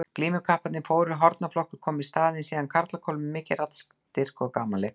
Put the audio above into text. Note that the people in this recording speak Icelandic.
Glímukapparnir fóru og hornaflokkur kom í staðinn, síðan karlakór með mikinn raddstyrk og gamanleikari.